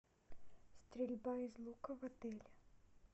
стрельба из лука в отеле